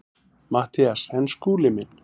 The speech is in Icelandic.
MATTHÍAS: En Skúli minn.